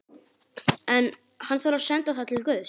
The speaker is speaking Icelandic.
En- hann þarf að senda það til guðs.